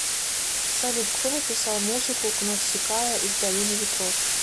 салют кто написал музыку к навсикая из долины ветров